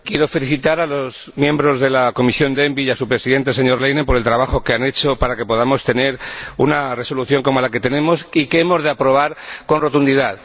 Señora Presidenta, quiero felicitar a los miembros de la Comisión ENVI y a su presidente, el señor Leinen, por el trabajo que han hecho para que podamos tener una Resolución como la que tenemos, y que hemos de aprobar con rotundidad.